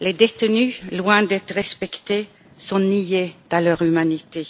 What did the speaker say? Les détenus, loin d'être respectés, sont niés dans leur humanité.